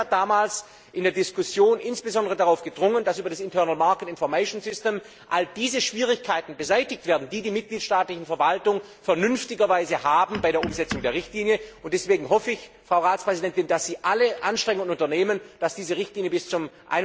Das Parlament hat damals in der Diskussion insbesondere darauf gedrungen, dass über das Internal Market Information System all diese Schwierigkeiten beseitigt werden, die die mitgliedstaatlichen Verwaltungen vernünftigerweise bei der Umsetzung der Richtlinie haben, und deswegen hoffe ich, Frau Ratspräsidentin, dass Sie alle Anstrengungen unternehmen, dass diese Richtlinie bis zum